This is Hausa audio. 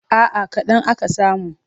A'a kaɗan aka samu.